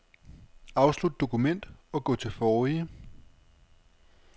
Afslut dokument og gå til forrige.